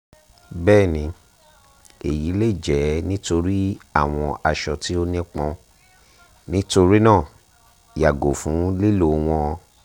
bẹẹni eyi le jẹ nitori awọn aṣọ ti o nipọn nitorinaa yago fun lilo wọn